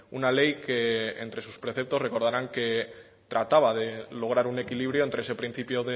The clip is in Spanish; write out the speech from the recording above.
una ley que entre sus preceptos recordarán que trataba de lograr un equilibrio entre ese principio